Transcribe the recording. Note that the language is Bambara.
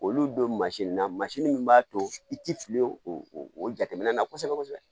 Olu don na min b'a to i tɛ fili o o jateminɛ na kosɛbɛ kosɛbɛ